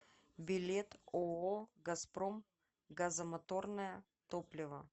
билет ооо газпром газомоторное топливо